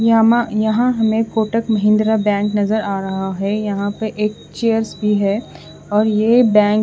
यामा यहां हमें कोटक महिन्द्रा बैंक नजर आ रहा है यहां पे एक चेयर्स भी है और ये बैंक --